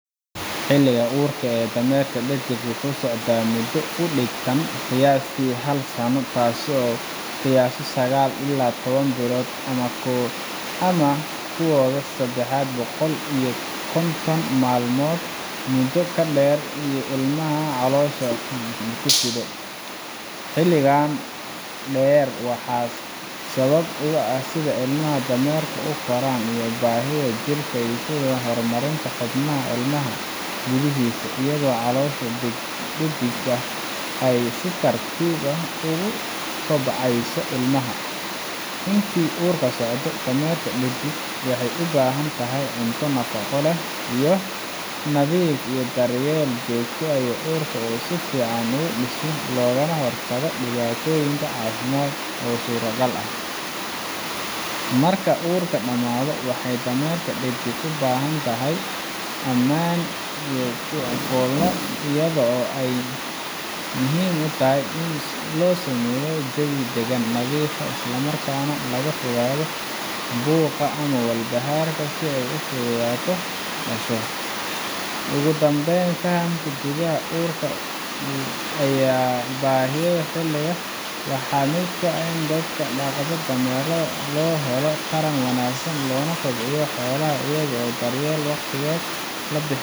xilliga uurka ee dameerka dhedig wuxuu socdaa muddo u dhiganta qiyaastii hal sano taas oo lagu qiyaaso sagaal iyo toban bilood ama kudhowaad saddex boqol iyo konton maalmood muddo dheer oo ay ilmaha caloosha ku sido xilligan dheer waxaa sabab u ah sida ilmaha dameerka u koro iyo baahida jirka ee ku aaddan horumarinta xubnaha ilmaha gudihiisa iyadoo caloosha dhediga ay si tartiib ah ugu kobcayso ilmaha intii uu uurka socdo dameerka dhedig waxay u baahan tahay cunto nafaqo leh, biyo nadiif ah, iyo daryeel joogto ah si uurku si fiican ugu dhismo loogana hortago dhibaatooyin caafimaad oo suurtagal ah marka uurka dhamaado waxay dameerka dhedig u baahan tahay meel ammaan ah oo ay ku fooldo iyadoo ay muhiim tahay in loo sameeyo jawi degan, nadiif ah, isla markaana laga fogaado buuqa ama walbahaarka si ay si fudud u dhasho ugu dambayn fahamka muddada uurka iyo baahiyaha xilligaas waa mid muhiim u ah dadka dhaqda dameeraha si loo helo taran wanaagsan loona kobciyo xoolaha iyada oo daryeelka waqtigeeda la bixiyo si jir